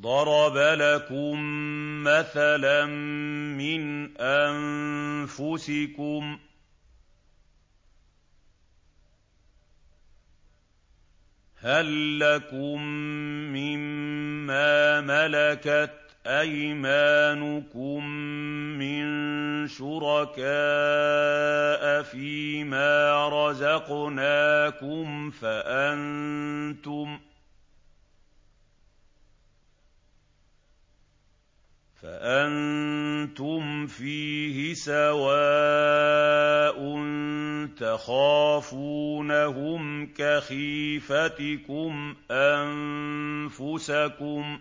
ضَرَبَ لَكُم مَّثَلًا مِّنْ أَنفُسِكُمْ ۖ هَل لَّكُم مِّن مَّا مَلَكَتْ أَيْمَانُكُم مِّن شُرَكَاءَ فِي مَا رَزَقْنَاكُمْ فَأَنتُمْ فِيهِ سَوَاءٌ تَخَافُونَهُمْ كَخِيفَتِكُمْ أَنفُسَكُمْ ۚ